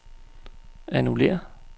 annullér